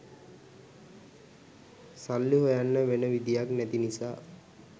සල්ලි හොයන්න වෙන විදිහක් නැති නිසා